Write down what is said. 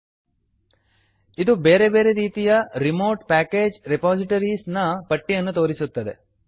ಇದು ಬೇರೆ ಬೇರೆ ರೀತಿಯ remote package repositories remote package repositories ನ ಪಟ್ಟಿಯನ್ನು ತೋರಿಸುತ್ತದೆ